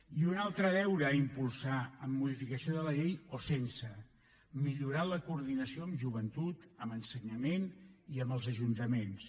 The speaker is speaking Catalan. i un altre deure a impulsar amb modificació de la llei o sense millorar la coordinació amb joventut amb ensenyament i amb els ajuntaments